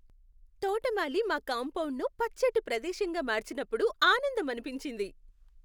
తోటమాలి మా కాంపౌండును పచ్చటి ప్రదేశంగా మార్చినప్పుడు ఆనందమనిపించింది.